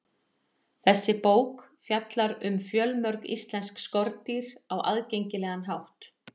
Þessi bók fjallar um fjölmörg íslensk skordýr á aðgengilegan hátt.